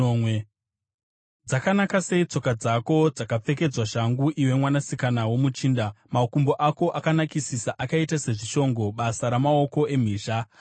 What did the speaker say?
Dzakanaka sei tsoka dzako dzakapfekedzwa shangu, iwe mwanasikana womuchinda! Makumbo ako akanakisisa akaita sezvishongo, basa ramaoko emhizha.